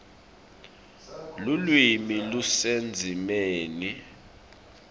lulwimi lusendzimeni